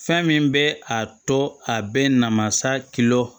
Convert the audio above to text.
Fɛn min bɛ a tɔ a bɛ namasa kilo